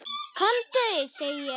KOMDU SEGI ÉG!